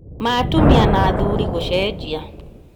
ma atumia na athuri gũcenjia?